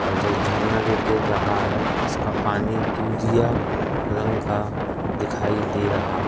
और जो झरना जो गिर रहा है उसका पानी दूधिया रंग का दिखाई दे रहा--